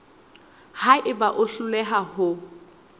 ha eba o hloleha ho